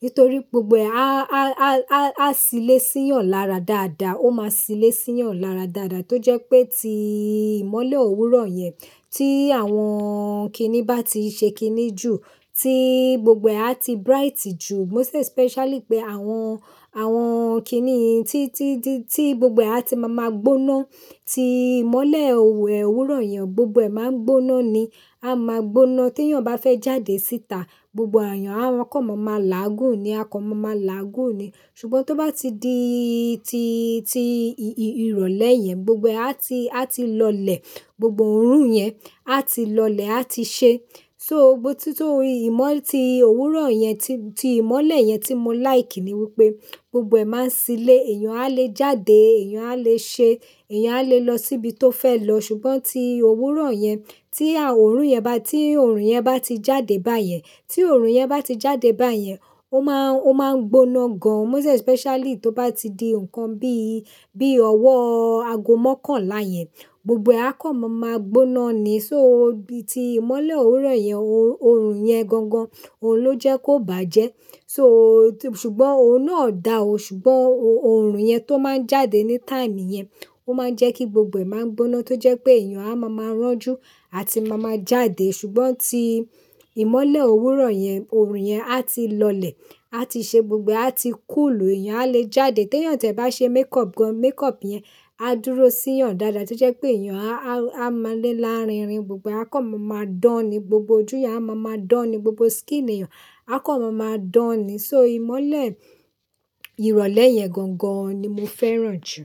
Nítorí gbogbo ẹ á, á, á, á, á silé sí yàn lára dáadáa, ó má silé sí yàn lára dáadáa. Tó jẹ́ pé tí ìmọ́lẹ̀ òwúrọ̀ yẹn tí àwọn kíní bá ti ṣe kíní jù, tí gbogbo ẹ á ti bright jù, most especially pé àwọn, àwọn kíní tí, tí, tí gbogbo ẹ á ti máa ma gbóná. Tí ìmọ́lẹ̀ òwúrọ̀ yẹn gbogbo ẹ máa n gbóná ni, a máa gbóná. Tí èèyàn bá fẹ́ jáde síta, gbogbo èèyàn á kàn mọ máa láàgún ni, a kàn mọ máa láàgún ni. Ṣùgbọ́n tó bá ti di, ti, ti ìrọ̀lẹ́ yẹn gbogbo ẹ á ti, á ti lọlẹ̀, gbogbo òórùn yẹn á ti lọlẹ̀, á ti ṣe. So bo tí, tí ìmọ́-- ti òwúrọ̀ yẹn, ti, ti ìmọ́lẹ̀ yẹn tí mo like ni wípé gbogbo ẹ máa ń silé, èèyàn á lè jáde, èèyàn á lè ṣe, èèyàn á lè lọ síbi tó fẹ́ lọ. Ṣùgbọ́n tí òwúrọ̀ yẹn, tí à-- òórùn yẹn bá, tí òórùn yẹn bá ti jáde báyẹn, tí òórùn yẹn bá ti jáde báyẹn, ó máa ń, ó máa ń gbóná gan. Most especially tó bá ti di nǹkan bíi, bí ọwọ́ aago mọ́kànlá yẹn, gbogbo ẹ a kàn mọ máa gbóná ni. So bí i ti ìmọ́lẹ̀ òwúrọ̀ yẹn, òórùn yẹn gangan, òun ló jẹ́ kó bàjẹ́. So ṣùgbọ́n òun náà dà ó, ṣùgbọ́n òórùn yẹn tó máa ń jáde ní time yẹn, ó máa ń jẹ́ kí gbogbo ẹ máa ń gbóná tó jẹ́ pé èèyàn á máa máa rọ́jú, àti máa máa jáde. Ṣùgbọ́n tí ìmọ́lẹ̀ òwúrọ̀ yẹn, òórùn yẹn á ti lọlẹ̀, á ti ṣe gbogbo ẹ á ti cool, èèyàn á lè jáde. Tí èèyàn ti ẹ̀ bá ṣe makeup gan, makeup yẹn á dúró sí yàn dáadáa tó jẹ́ pé èèyàn a, a máa le lárinrin, gbogbo ẹ a kàn mọ máa dán ni, gbogbo ojú yàn a máa ma dán ni, gbogbo skin èèyàn a kàn mọ máa dán ni. So ìmọ́lẹ̀ ìrọ̀lẹ́ yẹn gangan ni mo fẹ́ràn jù.